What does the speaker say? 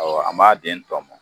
Awɔ an b'a den tɔmɔn